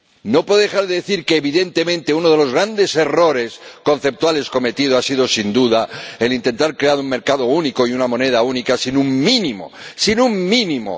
No puedo dejar de decir que, evidentemente, uno de los grandes errores conceptuales cometidos ha sido, sin duda, el intentar crear un mercado único y una moneda única sin un mínimo —¡sin un mínimo!—